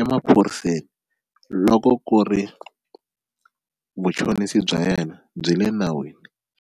emaphoriseni loko ku ri vuchonisi bya yena byi le nawini.